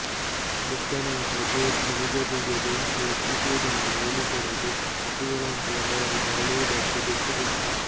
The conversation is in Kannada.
ಕೃದ್ಧನಾದ ಜ್ಯೂಸ್ ಮನುಜರಿಗೆ ಬೆಂಕಿ ಹೊತ್ತಿಸುವುದನ್ನು ಹೇಳಿಕೊಡದೆ ಪಶುಗಳಂತೆ ಅವರು ಬಾಳುವುದಕ್ಕೆ ಬಿಟ್ಟುಬಿಟ್ಟ